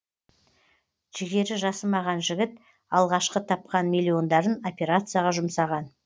жігері жасымаған жігіт алғашқы тапқан миллиондарын операцияға жұмсаған